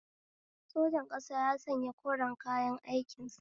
Sojan ƙasa ya sanya koren kayan aikin sa